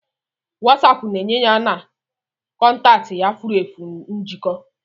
Wasapu na-enye ya na kọntaktị ya furu efu njikọ.